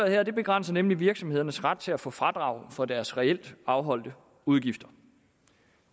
her begrænser nemlig virksomhedernes ret til at få fradrag for deres reelt afholdte udgifter